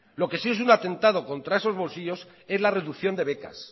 lo que sí es un atentado contra esos bolsillos es la reducción de becas